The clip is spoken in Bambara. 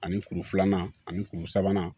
Ani kuru filanan ani kuru sabanan